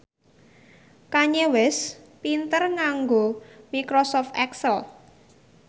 Kanye West pinter nganggo microsoft excel